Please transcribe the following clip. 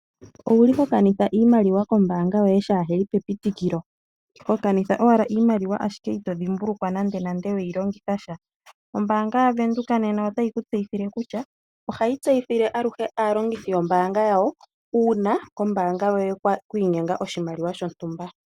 Owuli ho kanitha iimaliwa kombaanga yoye shaa heli pe pitikilo, ho kanitha ashike iimaliwa ashike ito dhimbulukwa nande nande weyi longitha sha? Ombaanga ya Venduka nena otayi ku tseyithile kutya ohayi tseyithile aluhe aalongithi yombaanga yawo uuna kombaanga yoye kwiinyenga oshimaliwa shontumba.